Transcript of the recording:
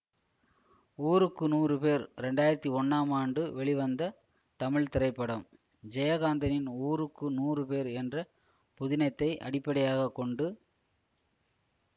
ஊருக்கு நூறு பேர் இரண்டு ஆயிரத்தி ஒன்னாம் ஆண்டு வெளிவந்த தமிழ் திரைப்படம் ஜெயகாந்தனின் ஊருக்கு நூறு பேர் என்ற புதினத்தை அடிப்படையாக கொண்டு